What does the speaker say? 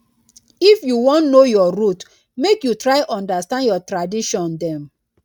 if you wan know your root make you try understand your tradition dem.